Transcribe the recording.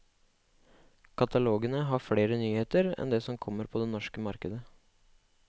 Katalogene har flere nyheter enn det som kommer på det norske marked.